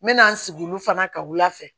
N mɛna n sigi olu fana ka wulafɛ